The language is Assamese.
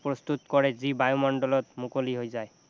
প্ৰস্তুত কৰে যি বায়ুমণ্ডলত মুকলি হৈ যায়